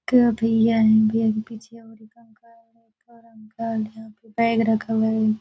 भैया भैया पीछे बैग रखा हुआ है।